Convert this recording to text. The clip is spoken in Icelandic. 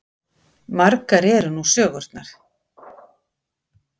Margar eru nú sögurnar.